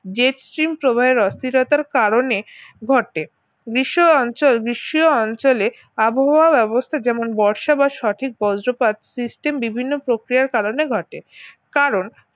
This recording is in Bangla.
jet steam প্রবাহের অস্থিরতার কারণে ঘটে গ্রীষ্ম অঞ্চল গ্রীষ্মীয় অঞ্চলে আবহাওয়ার অবস্থা যেমন বর্ষা বা সঠিক বজ্রপাত system বিভিন্ন প্রক্রিয়ায় কারণে ঘটে কারণ